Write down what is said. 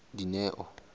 dineo